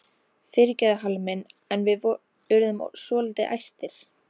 Fyrirgefðu Halli minn en við urðum svolítið æstir.